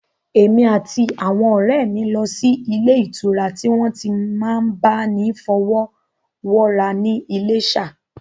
Èmi àti àwọn ọ̀rẹ́ mi lọ sí ilé ìtura tí wọ́n ti n máa bá ni fọwọ́wọ́ra ní Iléṣà